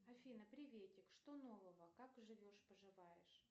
афина приветик что нового как живешь поживаешь